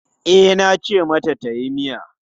E, nace mata tayi miya.